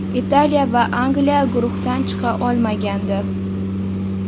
Italiya va Angliya guruhdan chiqa olmagandi.